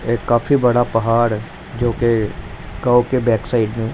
एक काफी बड़ा पहाड़ है जोकि गांव के बैक साइड में--